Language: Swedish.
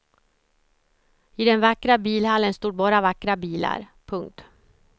I den vackra bilhallen stod bara vackra bilar. punkt